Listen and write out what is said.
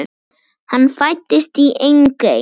Hann fæddist í Engey.